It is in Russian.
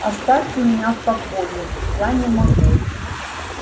оставьте меня в покое я не могу